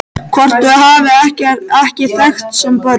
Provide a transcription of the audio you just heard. Hvort þau hafi ekki þekkst sem börn?